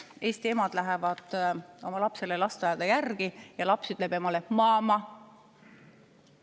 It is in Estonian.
Eesti ema läheb oma lapsele lasteaeda järele ja laps ütleb talle mama.